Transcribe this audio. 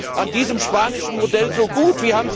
Was ist denn an diesem spanischen Modell so gut?